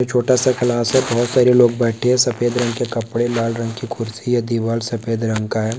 एक छोटा सा क्लास है बहुत सारे लोग बैठे हैं सफेद रंग के कपड़े लाल रंग की कुर्सी है दीवाल सफेद रंग का है।